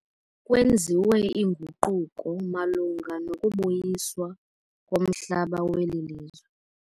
Kwenziwe inguquko malunga nokubuyiswa komhlaba weli lizwe.